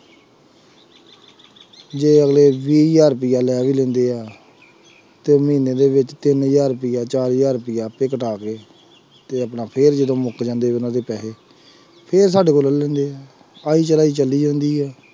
ਜੇ ਅਗਲੇ ਵੀਹ ਹਜ਼ਾਰ ਰੁਪਇਆ ਲੈ ਵੀ ਲੈਂਦੇ ਹੈ ਤੇ ਮਹੀਨੇ ਦੇ ਵਿੱਚ ਤਿੰਨ ਹਜ਼ਾਰ ਰੁਪਇਆ ਚਾਰ ਹਜ਼ਾਰ ਰੁਪਇਆ ਆਪੇ ਕਟਾ ਕੇ ਤੇ ਆਪਣਾ ਫਿਰ ਜਦੋਂ ਮੁੱਕ ਜਾਂਦੇ ਉਹਨਾਂ ਦੇ ਪੈਸੇ ਫਿਰ ਸਾਡੇ ਲੈਂਦੇ ਹੈ ਆਈ ਚਲਾਈ ਚੱਲੀ ਜਾਂਦੀ ਹੈ।